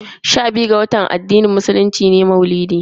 Sha biyu ga watan uku na addinin musulunci shine ake gudanar da bikin maulidi.